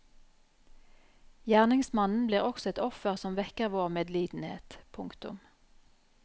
Gjerningsmannen blir også et offer som vekker vår medlidenhet. punktum